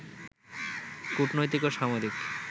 কূটনৈতিক ও সামরিক